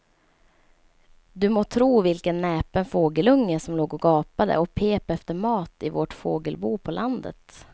Du må tro vilken näpen fågelunge som låg och gapade och pep efter mat i vårt fågelbo på landet.